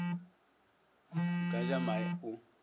a ka ja mae o